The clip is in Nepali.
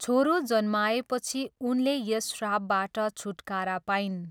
छोरो जन्माएपछि उनले यस श्रापबाट छुटकारा पाइन्।